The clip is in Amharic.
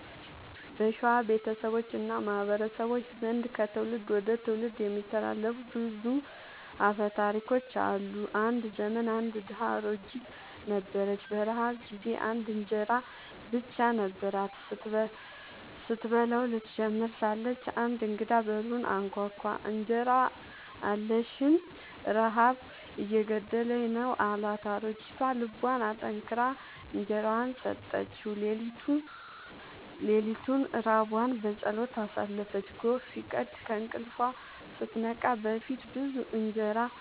በሸዋ ቤተሰቦች እና ማህበረሰቦች ዘንድ ከትውልድ ወደ ትውልድ የሚተላለፉ ብዙ አፈ ታሪኮች አሉ። አንድ ዘመን አንድ ድሃ አሮጊት ነበረች። በረሃብ ጊዜ አንድ እንጀራ ብቻ ነበራት። ስትበላው ልትጀምር ሳለች አንድ እንግዳ በሩን አንኳኳ፤ «እንጀራ አለኝን? ረሃብ እየገደለኝ ነው» አላት። አሮጊቷ ልቧን አጠንክራ እንጀራዋን ሰጠችው። ሌሊቱን ራቧን በጸሎት አሳለፈች። ጎህ ሲቀድ ከእንቅልፏ